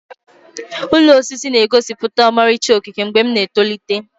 Ụlọ osisi na-egosipụta ọmarịcha okike mgbe m na-etolite.